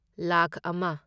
ꯂꯥꯈ ꯑꯃ